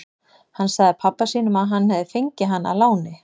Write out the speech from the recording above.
Hann sagði pabba sínum að hann hefði fengið hana að láni.